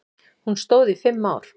Hún stóð í fimm ár.